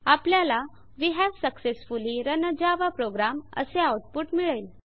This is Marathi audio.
आपल्याला वे हावे successfully run a Java program असे आउटपुट मिळेल